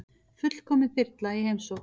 Fullkomin þyrla í heimsókn